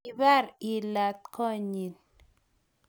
kibar ilat koot nyin